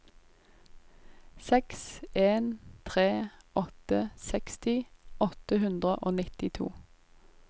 seks en tre åtte seksti åtte hundre og nittito